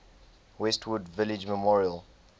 westwood village memorial